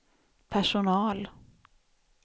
personal